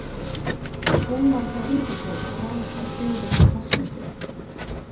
Skúmar hjá Ingólfshöfða ráðast að Sigurði á Hofsnesi.